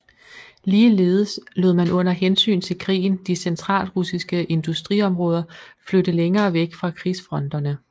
Ligeledes lod man under hensyn til krigen de centralrussiske industriområder flytte længere væk fra krigsfronterne